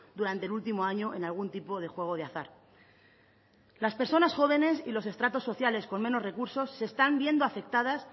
durante el último año en algún tipo de juego de azar las personas jóvenes y los estratos sociales con menos recursos se están viendo afectadas